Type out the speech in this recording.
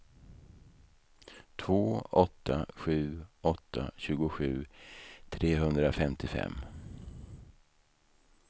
två åtta sju åtta tjugosju trehundrafemtiofem